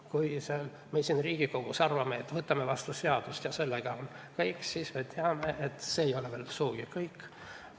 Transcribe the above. Kui me siin Riigikogus arvame, et võtame vastu seaduse ja sellega on kõik, siis, nagu me teame, see ei ole veel sugugi kõik.